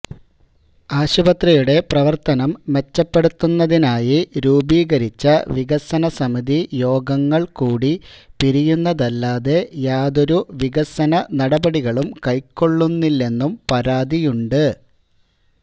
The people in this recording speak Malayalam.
ആശുപത്രിയുടെ പ്രവര്ത്തനം മെച്ചപ്പെടുത്തുന്നതിനായി രൂപീകരിച്ച വികസനസമിതി യോഗങ്ങള് കൂടി പിരിയുന്നതല്ലാതെ യാതൊരു വികസന നടപടികളും കൈക്കൊള്ളുന്നില്ലെന്നും പരാതിയുണ്ട്